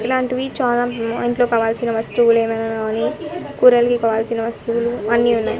ఇలాంటివి చాలా మ్మ్ ఇంట్లో కావాల్సిన వస్తువులు ఏమైనా కావాలి కూరలకి కావల్సిన వస్తువులు అన్నీ ఉన్నాయ్.